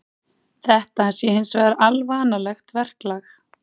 Þetta sé hins vegar alvanalegt verklag